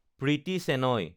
Priti Shenoy